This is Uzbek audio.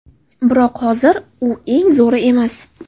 Biroq, hozir u eng zo‘ri emas.